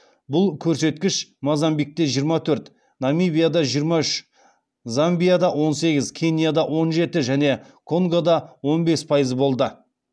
бұл көрсеткіш мозамбикте намибияда замбияда кенияда және конгода он бес пайыз болды